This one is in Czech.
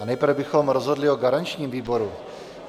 A nejprve bychom rozhodli o garančním výboru.